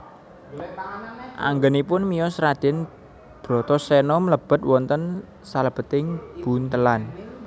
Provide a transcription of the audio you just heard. Anggenipun miyos Raden Bratasena mblebet wonten salebeting buntelan